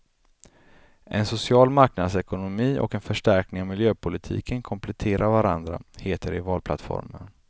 En social marknadsekonomi och en förstärkning av miljöpolitiken kompletterar varandra, heter det i valplattformen.